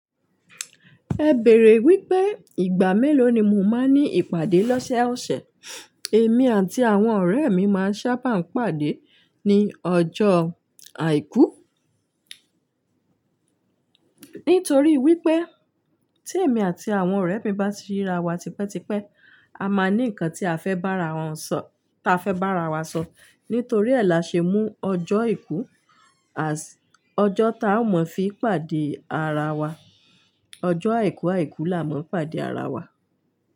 Ẹ bèèrè wípé ìgbà mélòó ni mo máa ní ìpàdé lọ́sẹ̀ ọ̀sẹ̀. Èmi àti àwọn ọ̀rẹ́ mi máa ń sábà ń pàdé ní ọjọ́ àìkú. Nítorí wípé tí èmi àti àwọn ọ̀rẹ́ mi bá ti ríra wa tipẹ́ tipẹ́, a máa ní ǹkan tí a fẹ́ bá ara wọn sọ, táa fẹ́ bá ara wa sọ. Nítorí ẹ́ là ṣe mú ọjọ́ aìkú "as" ọjọ́ tá ao mọ̀ fi pàdé ara wa. Ọjọ́ àìkú àìkú là a mọ̀ ń pàdé ara wa.